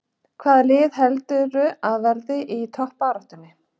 Hvaða lið heldurðu að verði í toppbaráttunni?